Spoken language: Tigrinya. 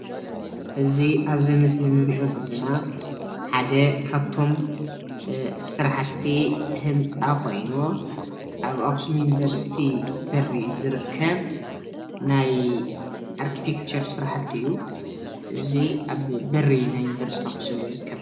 እዚ አብዚ ምስሊ ንሪኦ ዘለና ሓደ ካብቶም ስራሕቲ ህንፃ ኾይኑ አብ አክሱም ዩኒቨርስቲ በሪ እዩ ዝርከብ ናይ አርቲቴክቸር ስራሕቲ እዩ። እዚ አብ በሪ ናይ ዩንቨርስቲ አክሱም ይርከብ።